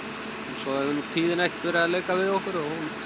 svo hefur tíðin ekkert verið að leika við okkur það